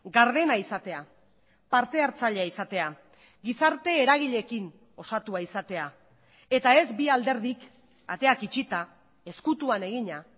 gardena izatea partehartzailea izatea gizarte eragileekin osatua izatea eta ez bi alderdik ateak itxita ezkutuan egina